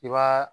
I b'a